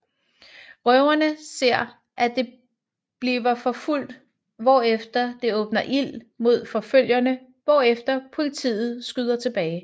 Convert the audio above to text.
Røverne ser at det bliver forfulgt hvorefter det åbner ild mod forfølgerne hvorefter politiet skyder tilbage